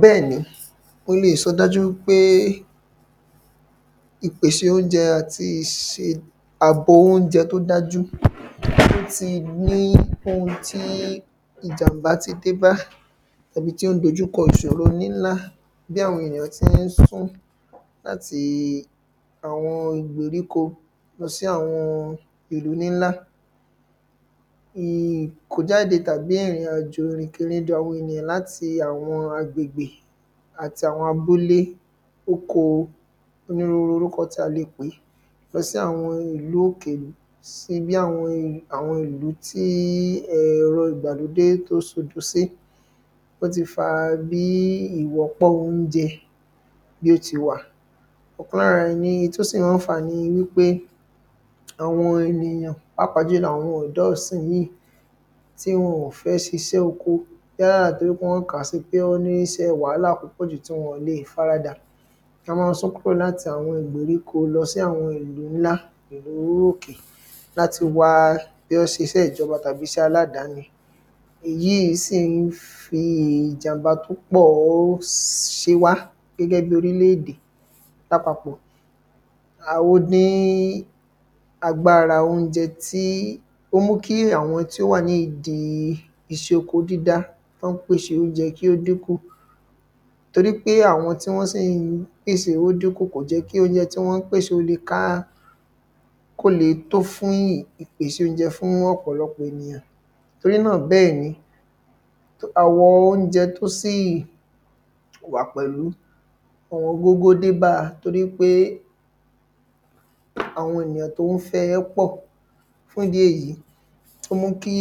Bẹ́ẹ̀ ni mo lè sọ dájú wípé ìpèṣè óunjẹ àti iṣẹ́ àbò óunjẹ tí ó dájú ó tí ní oun tí ìjàm̀bá ti dé bá Àbí tí ó ń dojúkọ ìṣòro nílá bi àwọn ènìyàn tí ń sún láti àwọn ìgbèríko lọ sí àwọn ìlú ńlá Ìkójáde tàbí ìrìnàjò ìrìnkèrindò àwọn ènìyàn láti àwọn agbègbè àti àwọn abúlé oko onírúurú orúkọ tí a lè pè é Lọ sí àwọn ìlú òkèèrè sí bí àwọn ìlú àwọn ìlú tí um ẹ̀rọ ìgbàlódé tí ó se odo sí Ó tí fa bí ìwọ́pọ̀ óunjẹ bí ó tí wa ọkan lára ẹ ni tí ó si máa ń fà á ni wípé Àwọn ènìyàn pàápàá jùlọ àwọn ọ̀dọ́ ìsìnyìí tí wọn ò fẹ́ ṣiṣẹ oko yálà torí pé wọ́n kàá si pé wọ́n ní iṣẹ́ wàhálà púpọ̀ jù tí wọn ọ̀n lè faradà Wọn máa ń sún kúrò láti àwọn ìgbèríko lọ sí àwọn ìlú ńlá ìlú òkè Láti wá bóyá ó ṣe iṣẹ́ ìjọba tàbí iṣẹ́ aládani Ìyí si ń fi ìjàm̀bá tí ó pọ̀ ṣe wá gẹ́gẹ́ bíi orílẹ̀ èdè lápapọ̀ um ó dín agbára óunjẹ tí ó mú kí àwọn tí ó wà ní ìdí iṣẹ́ oko dídá tí wọ́n ń pèsè óunjẹ kí ó din kù Torí pé àwọn tí wọ́n sì ń pèsè ó dín kù kò jẹ́ kí óunjẹ tí wọ́n ń pèsè ó lè ká kí ó lè tó fún ìpèsè óunjẹ fún ọ̀pọ̀lọpọ̀ ènìyàn Torí náà bẹ́ẹ̀ ni Àwọn óunjẹ tí ó sì wà pẹ̀lú ọ̀wọ́n gógó dé bá a torí pé àwọn ènìyàn tí ó ń fẹ́ ẹ pọ̀ Fún ìdí èyí ó mú kí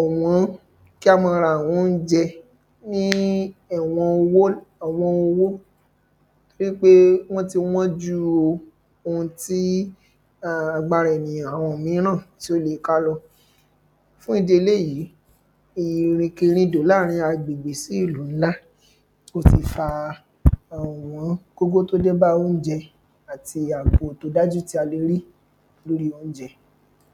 ọ̀wọ́n kí á máa ra àwọn óunjẹ ní ẹwọ owó ọ̀wọ́n owó Torí pé wọ́n tí wán jù òun tí agbára ènìyàn àwọn mìíràn tí ó lè ká lọ Fún ìdí eléyì irìnkèrindò láàrin agbègbè sí ìlú ńlá ó ti fa ọ̀wán gógó tí ó dé bá óunjẹ àti àbò tí ó dáju tí a lè rí lórí óunjẹ